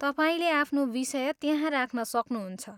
तपाईँले आफ्नो विषय त्यहाँ राख्न सक्नुहुन्छ।